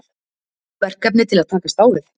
Verkefni til að takast á við?